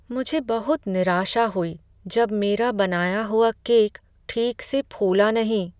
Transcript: मुझे बहुत निराशा हुई जब मेरा बनाया हुआ केक ठीक से फूला नहीं।